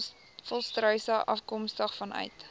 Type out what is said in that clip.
volstruise afkomstig vanuit